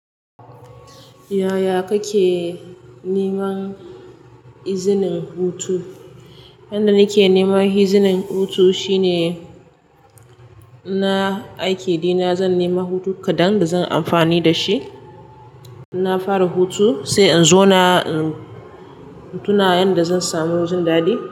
Yaya kake neman izinin hutu? Yanda nake neman izinin hutu shine, na aiki dina zan nema hutu kaɗan da zan amfani da shi. Na fara hutu sai in zauna in tuna yanda zan samu jindaɗi.